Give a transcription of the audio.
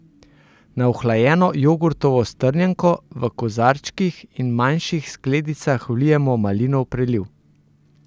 Na ohlajeno jogurtovo strjenko v kozarčkih ali manjših skledicah vlijemo malinov preliv.